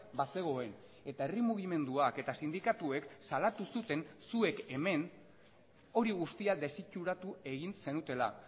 bazegoen eta herri mugimenduak eta sindikatuek salatu zuten zuek hemen hori guztia desitxuratu egin zenutela